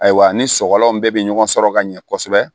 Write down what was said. Ayiwa ni sɔgɔlan bɛɛ bɛ ɲɔgɔn sɔrɔ ka ɲɛ kosɛbɛ